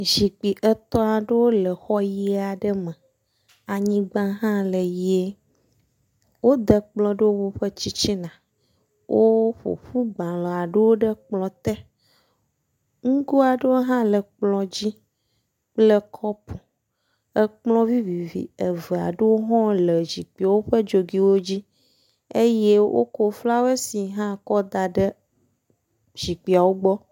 Zikpui etɔ̃ aɖewo le xɔ ʋi aɖe me. Anyigba hã la le ʋie, wode kplɔ̃ ɖe woƒe titina. Woƒo ƒu agbalẽ aɖewo ɖe kplɔ̃ te. Ŋgo aɖewo hã le kplɔ̃ dzi kple kɔpu. Kplɔ̃ vivivi eve aɖewo hã le zikpuiwo ƒe dzogoewo dzi eye wokɔ flawesi hã kɔ da ɖe zikpuiwo gbɔ.